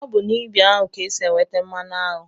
Ọ bụ n'ibi aṅụ ka e si enweta mmanụ aṅụ